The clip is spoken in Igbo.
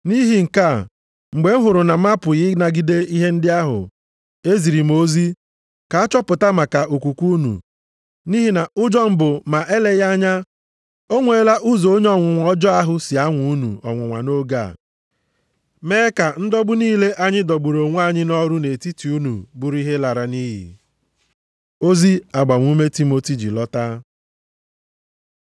Nʼihi nke a, mgbe m hụrụ na m apụghị ịnagide ihe ndị ahụ, eziri m ozi, ka a chọpụta maka okwukwe unu. Nʼihi na ụjọ m bụ ma eleghị anya o nweela ụzọ onye ọnwụnwa ọjọọ ahụ si nwaa unu ọnwụnwa nʼoge a, mee ka ndọgbu niile anyị dọgburu onwe anyị nʼọrụ nʼetiti unu bụrụ ihe lara nʼiyi. Ozi agbamume Timoti ji lọta